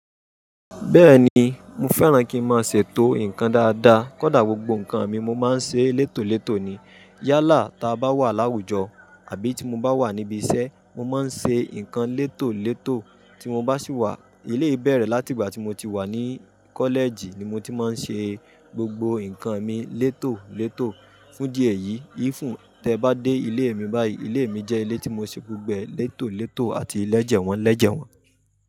Bẹ́ẹ̀ni, mo fẹ́ràn kí ń máa ṣètò nǹkan dáadáa, kódà gbogbo nǹkan mi mo máa ń ṣe létò létò ni. Yálà táa bá wà láwùjọ àbí tí mo bá wà níbi iṣẹ́, mo máa ń ṣe nǹkan létò létò tí mo bá sì wà. Eléyii bẹ̀rẹ̀ láti ìgbà tí mo ti wà ní college ni mo ti máa ń ṣe gbogbo nǹkan mi létò létò. Fún idí èyí, even tẹ bá dé ilé mi báyìí, ilé mi jẹ́ ilé tí mo ṣè gbogbo ẹ̀ létò létò àti lẹ́jẹ̀wọ̀n lẹ́jẹ̀wọ̀n.